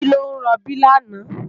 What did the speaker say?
Titi ló n ròbí làná